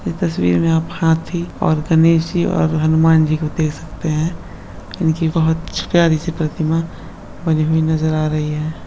इस तस्वीर में आप हाथी और गणेश जी और हनुमान जी को देख सकते हैं उनकी बहुत प्यारी सी प्रतिमा बनी हुई नजर आ रही है।